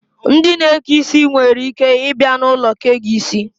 Ndị na-eke isi nwereike ịbịa n'ulo kee gị isi